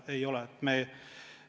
Ei ole!